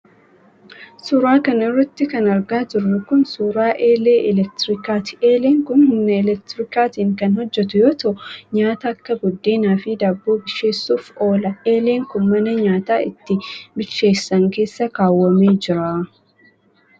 Suura kana irratti kan argaa jirru kun, suura eelee elektirikaati. Eeleen kun humna elektirikaatiin kan hojjatu yoo ta'u nyaata akka buddeenaa fi daabboo bilcheessuuf oola. Eeleen kun ,mana nyaata itti bilcheessan keessa kaawwamee jira.